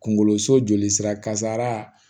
Kunkoloso joli sira kasara